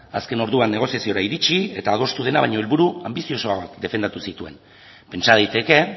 azken orduan negoziaziora iritsi eta adostu dena baino helburu anbiziosoagoak defendatu zituen pentsa daiteke